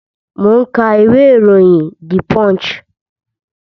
Mo ń ka ìwé iroyin "The Punch".